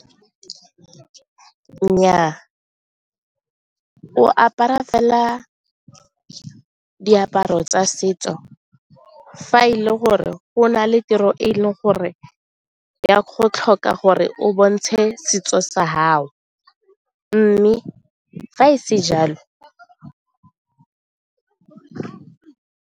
Nnyaa, o apara fela diaparo tsa setso fa e le gore go na le tiro e e leng gore e a go tlhoka gore o bontshe setso sa gao mme fa e se jalo.